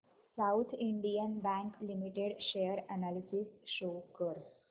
south Indian Bank Limited share analysis show कर